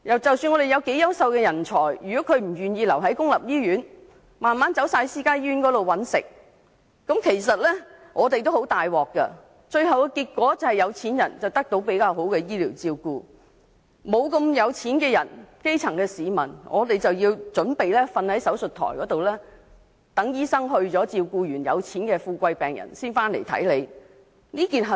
即使我們有優秀的人才，但如果他們不願意留在公立醫院工作，慢慢地全部轉往私家醫院工作，結果有錢人可以得到較佳的醫療照顧，而基層市民則準備要躺在手術台上，待醫生先照顧完有錢的病人後才回來。